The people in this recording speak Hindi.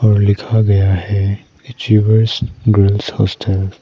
और लिखा गया है अचीवर्स गर्ल्स हॉस्टल ।